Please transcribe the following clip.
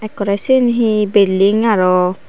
ekkorey shen he building aroh.